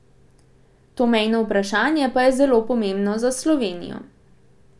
To mejno vprašanje pa je zelo pomembno za Slovenijo.